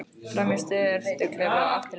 Fram í sturtuklefa og aftur til baka.